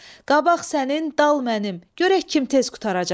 Qabaq sənin, dal mənim, görək kim tez qurtaracaq?